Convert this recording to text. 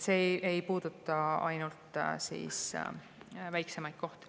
See ei puuduta ainult väiksemaid kohti.